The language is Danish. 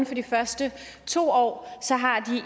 for de første to år er